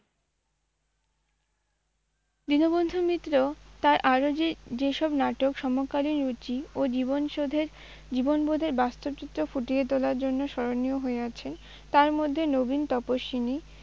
দীনবন্ধু মিত্র তাঁর আরাে যে, যেসব নাটকে সমকালীন রুচি ও জীবন শোধের, জীবনবােধের বাস্তব চিত্র ফুটিয়ে তােলার জন্য স্মরণীয় হয়ে আছে তার মধ্যে নবীন তপস্বিনী